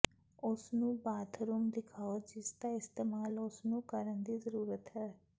ਉਸ ਨੂੰ ਬਾਥਰੂਮ ਦਿਖਾਓ ਜਿਸਦਾ ਇਸਤੇਮਾਲ ਉਸ ਨੂੰ ਕਰਨ ਦੀ ਜ਼ਰੂਰਤ ਹੈ